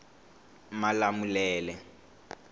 malamulele